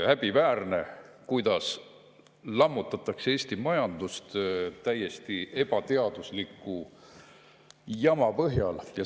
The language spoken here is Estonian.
Häbiväärne, kuidas Eesti majandust lammutatakse täiesti ebateadusliku jama põhjal!